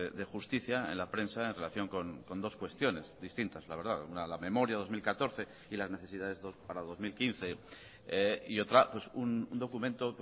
de justicia en la prensa en relación con dos cuestiones distintas la verdad una la memoria dos mil catorce y las necesidades para dos mil quince y otra un documento